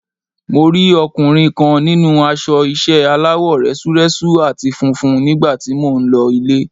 Mo rí ọkùnrin kan nínú aṣọ ìṣe aláwọ̀ rẹ́súrẹ́sú àti funfun nígbà tí mò ń lọ ilé.